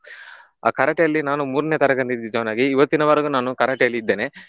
ಆ Karate ಅಲ್ಲಿ ನಾನು ಮೂರ್ನೆ ತರಗತಿ join ಆಗಿ ಇವತ್ತಿನವರೆಗೂ ನಾನು Karate ಆಲ್ಲಿ ಇದ್ದೇನೆ.